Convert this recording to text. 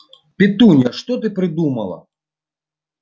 петунья ты что придумала